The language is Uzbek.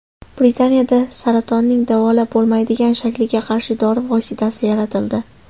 Britaniyada saratonning davolab bo‘lmaydigan shakliga qarshi dori vositasi yaratildi.